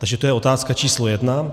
Takže to je otázka číslo jedna.